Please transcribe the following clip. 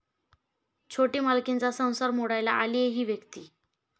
छोटी मालकीण'चा संसार मोडायला आलीय 'ही' व्यक्ती